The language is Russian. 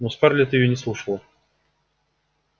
но скарлетт её не слушала